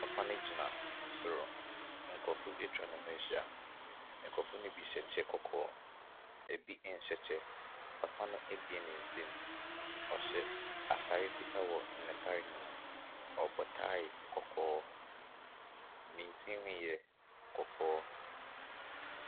Papa no gyina soro. Nkurɔfoɔ atwa ne ho ahyia. Nkurɔfoɔ no bi hyɛ kyɛ kɔkɔɔ. Ebi nhyɛ kyɛ. Papa no abue ne nsɛm. Ɔhyɛ atare fitaa wɔ n'atareɛ no mu. Ɔbɔ tae kɔkɔɔ. Ne tirinwi yɛ kɔkɔɔ.